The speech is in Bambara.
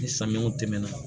Ni samiyaw tɛmɛna